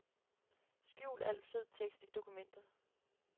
Skjul al fed tekst i dokument.